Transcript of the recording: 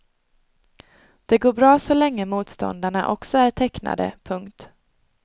Det går bra så länge motståndarna också är tecknade. punkt